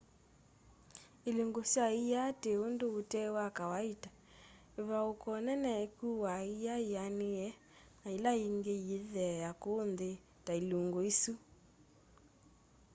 ilungu sya ia ti undu ute wa kawaita ivauuko nene ikuaa ia yianiie na yila yingi yiithea kuu nthi ta ilungu isu